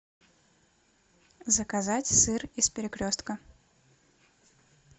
заказать сыр из перекрестка